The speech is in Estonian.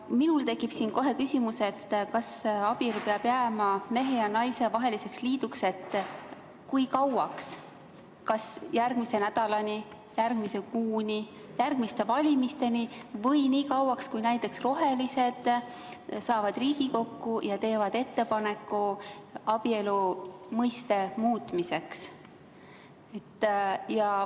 Minul tekib kohe küsimus, et abielu peab jääma mehe ja naise vaheliseks liiduks kui kauaks, kas järgmise nädalani, järgmise kuuni, järgmiste valimisteni või nii kauaks, kui näiteks rohelised saavad Riigikokku ja teevad ettepaneku abielu mõiste muutmiseks.